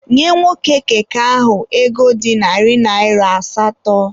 Nye nwoke keke ahụ ego dị narị naịra asatọ!